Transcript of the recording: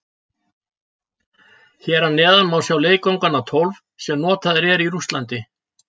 Hér að neðan má sjá leikvangana tólf sem notaðir eru í Rússlandi.